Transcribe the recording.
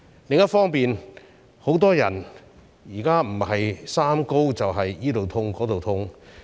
另一方面，很多人現在不是"三高"，便是周身痛。